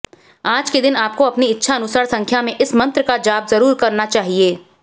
आज के दिन आपको अपनी इच्छानुसार संख्या में इस मंत्र का जाप जरूर करना चाहिए